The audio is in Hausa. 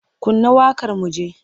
Kunna waƙar mu ji!